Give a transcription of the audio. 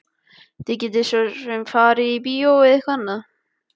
Þið getið svo farið á bíó eða eitthvað annað.